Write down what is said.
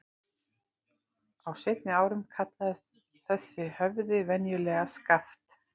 Á seinni árum kallaðist þessi höfði venjulega Skaft.